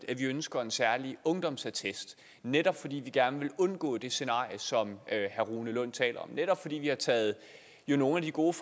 at vi ønsker en særlig ungdomsattest netop fordi vi gerne vil undgå det scenarie som herre rune lund taler om og netop fordi vi jo har taget nogle af de gode